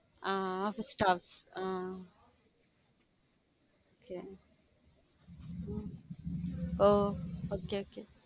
hmm office staffs ah um oh okay okay